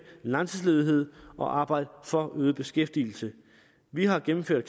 langtidsledighed og arbejde for øget beskæftigelse vi har gennemført